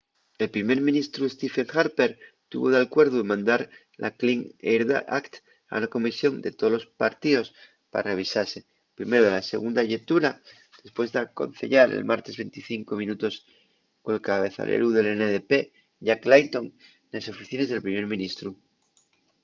el primer ministru stephen harper tuvo d’alcuerdu en mandar la clean air act” a una comisión de tolos partíos pa revisase primero de la segunda llectura depués d’aconceyar el martes 25 minutos col cabezaleru del ndp jack layton nes oficines del primer ministru